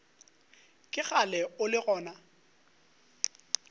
ke kgale o le gona